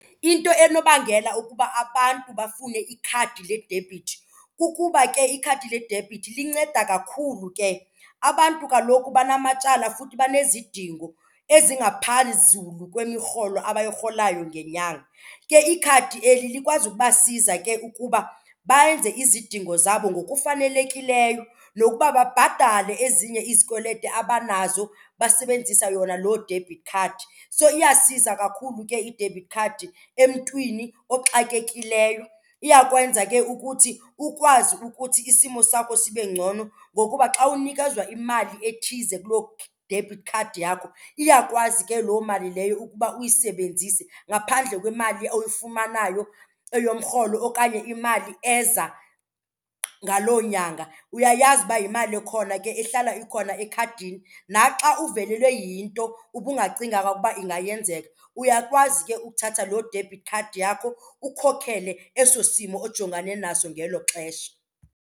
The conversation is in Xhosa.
Into enobangela ukuba abantu bafune ikhadi ledebhithi kukuba ke ikhadi ledebhithi linceda kakhulu ke. Abantu kaloku banamatyala futhi banezidingo azingaphezulu kwemirholo abuyirholayo ngenyanga. Ke ikhadi eli likwazi ukuba siza ke ukuba bayenze izidingo zabo ngokufanelekileyo nokuba babhatale ezinye izikweleti abanazo basebenzisa yona loo debit card. So iyasiza kakhulu ke i-debit card emntwini oxakekileyo. Iyakwenza ke ukuthi ukwazi ukuthi isimo sakho sibe ngcono ngokuba xa unikezwa imali ethize kuloo debit card yakho, iyakwazi ke loo mali leyo ukuba uyisebenzise ngaphandle kwemali oyifumanayo eyomrholo okanye imali eza ngaloo nyanga. Uyayazi uba yimali ekhona ke ehlala ikhona ekhadini, naxa uvelelwe yinto ubungacinganga ukuba ingayenzeka, uyakwazi ke ukuthatha loo debit card yakho ukhokhele eso simo ojongane naso ngelo xesha.